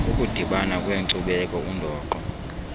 ukudibana kweenkcubeko undoqo